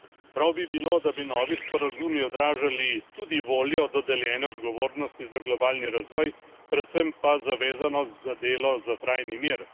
Prav bi bilo, da bi novi sporazumi odražali tudi voljo do deljene odgovornosti za globalni razvoj, predvsem pa zavezanost za delo za trajni mir.